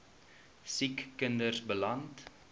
siek kinders beland